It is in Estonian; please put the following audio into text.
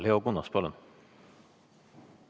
Leo Kunnas, palun!